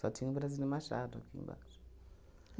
Só tinha o Brasília Machado aqui embaixo.